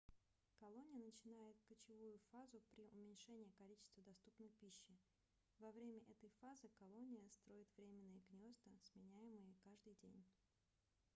колония начинает кочевую фазу при уменьшении количества доступной пищи во время этой фазы колония строит временные гнёзда сменяемые каждый день